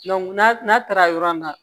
n'a n'a taara yɔrɔ min na